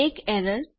એક એરર